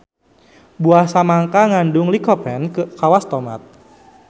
Buah samangka ngandung lycopene kawas tomat.